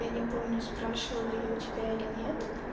я не помню спрашивала я у тебя или нет